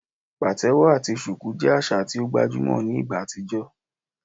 Patewo ati shuku jẹ aṣa ti o gbajumọ ni igba atijọ